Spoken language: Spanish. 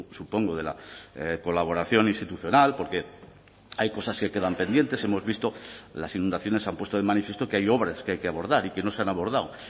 supongo de la colaboración institucional porque hay cosas que quedan pendientes hemos visto las inundaciones han puesto de manifiesto que hay obras que hay que abordar y que no se han abordado